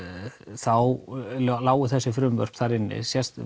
þá lágu þessi frumvörp þar inni